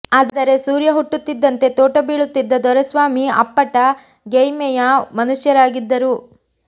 ಆದರೆ ಸೂರ್ಯ ಹುಟ್ಟುತ್ತಿದ್ದಂತೆ ತೋಟ ಬೀಳುತ್ತಿದ್ದ ದೊರೆಸ್ವಾಮಿ ಅಪ್ಪಟ ಗೆಯ್ಮೆಯ ಮನುಷ್ಯರಾಗಿದ್ದರು